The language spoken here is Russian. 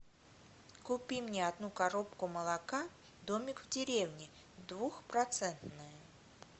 купи мне одну коробку молока домик в деревне двухпроцентное